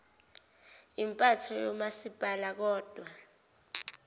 impatho yomasipala kodwa